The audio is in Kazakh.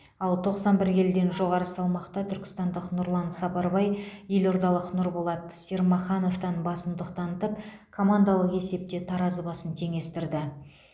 ал тоқсан бір келіден жоғары салмақта түркістандық нұрлан сапарбай елордалық нұрболат сермахановтан басымдық танытып командалық есепте таразы басын теңестірді